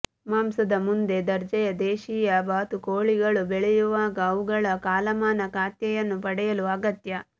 ಮಾಂಸದ ಮುಂದೆ ದರ್ಜೆಯ ದೇಶೀಯ ಬಾತುಕೋಳಿಗಳು ಬೆಳೆಯುವಾಗ ಅವುಗಳ ಕಾಲಮಾನ ಖಾತೆಯನ್ನು ಪಡೆಯಲು ಅಗತ್ಯ